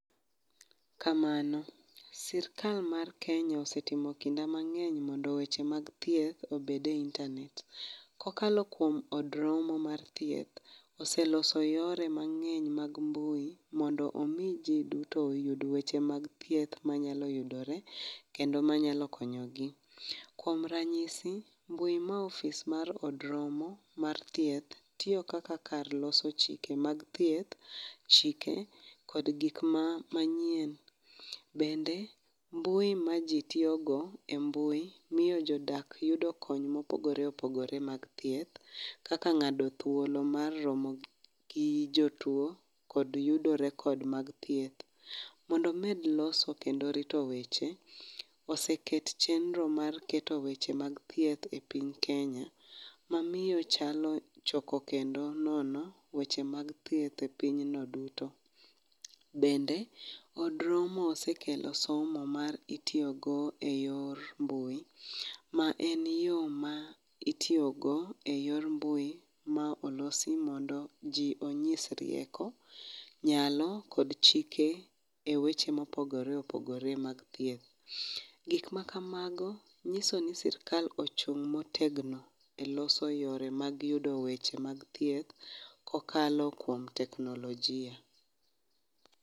Kamano, sirkal mar Kenya osetimo kinda mang'eny mondo weche mag thieth obed e internate. Kokalo kuom od romo mar thieth, oseloso yore mang'eny mag mbui mondo omi ji oyud weche mag thieth kendo manyalo yudore kendo manyalo konyo gi. Kuom ranyisi mbui ma ofis mar od rmo mar thieth tiyo kaka kar loso chike mag thieth, chike kod gik manyien bende mbui maji tiyogo e mbui miyo jodak yudo kony mopogore opogore mag thieth kaka ng'ado thuolo mar romo gi jotuo kod yudo record mag thieth. Mondo omed loso kendo rito weche, oseket chenro mar keto weche mag thieth e piny Kenya, mamiyo chalo choko kendo nono weche mag thieth e pinyno duto. Bende od romo osekelo somo ma itiyogo eyor mbui ma en yo ma itiyogo eyor mbui ma olosi mondo ji onyis rieko nyalo kod chike eweche mopogore opogore mag thieth. Gik makamago nyiso ni sirkal ochung' motegno motegno eloso yoore mag yudo mag thieth kokalo kuom weche mag teknolojia.